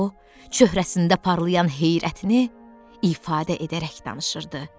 O, söhrəsində parlayan heyrətini ifadə edərək danışırdı.